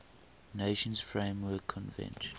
nations framework convention